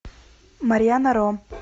марьяна ро